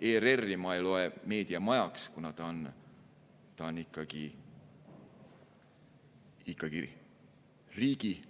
ERR-i ma ei loe meediamajaks, kuna ta on ikkagi riigi